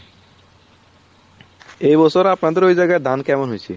এই বছর আপনাদের ওই জায়গায় ধান কেমন হয়ছে